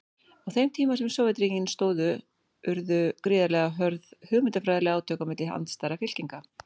Á þeim tíma sem Sovétríkin stóðu urðu gríðarlega hörð hugmyndafræðileg átök milli andstæðra fylkinga.